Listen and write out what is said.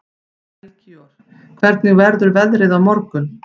Melkíor, hvernig verður veðrið á morgun?